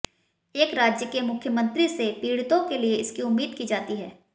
एक राज्य के मुख्यमंत्री से पीड़ितों के लिए इसकी उम्मीद की जाती है